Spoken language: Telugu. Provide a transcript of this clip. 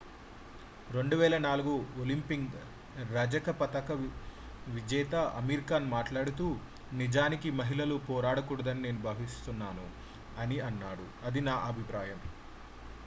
"2004 ఒలింపిక్ రజత పతక విజేత అమీర్ ఖాన్ మాట్లాడుతూ "నిజానికి మహిళలు పోరాడకూడదని నేను భావిస్తున్నాను. అని అన్నాడు. అది నా అభిప్రాయం. "